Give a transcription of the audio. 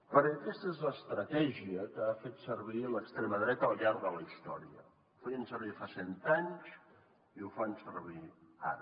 perquè aquesta és l’estratègia que ha fet servir l’extrema dreta al llarg de la història la feien servir fa cent anys i ho fan servir ara